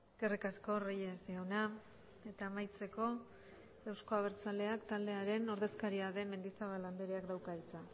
eskerrik asko reyes jauna eta amaitzeko euzko abertzaleak taldearen ordezkaria den mendizabal andreak dauka hitza